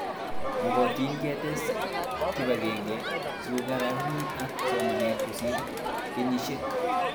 Makatin ketes kipag'eng'e sikokarkeit ak somanet kosir kenyishek